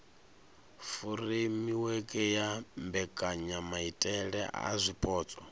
furemiweke ya mbekanyamaitele a zwipotso